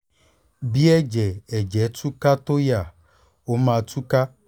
bí ẹ̀jẹ̀ ẹ̀jẹ̀ tú ká tó yá ó máa tú ká